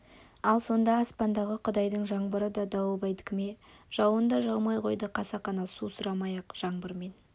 ал сонда аспандағы құдайдың жаңбыры да дауылбайдікі ме жауын да жаумай қойды қасақана су сұрамай-ақ жаңбырмен